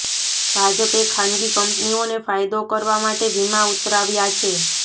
ભાજપે ખાનગી કંપનીઓને ફાયદો કરવા માટે વિમા ઉતરાવ્યા છે